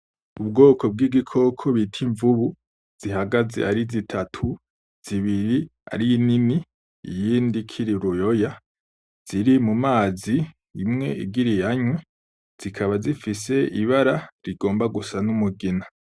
Ubwoko bw'igikoko bita Imvubu zihagaze ari zitatu, zibiri ari nini iyindi ikiri uruyoya, ziri mumazi imwe igira iyanywe, zikaba zifise ibara rigomba gusa n'umugina.